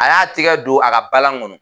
A y'a tigɛ don a ka balan kɔnɔ.